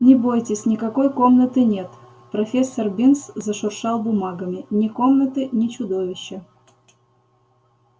не бойтесь никакой комнаты нет профессор бинс зашуршал бумагами ни комнаты ни чудовища